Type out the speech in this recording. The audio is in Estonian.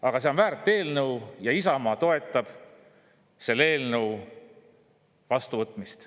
Aga see on väärt eelnõu ja Isamaa toetab selle eelnõu vastuvõtmist.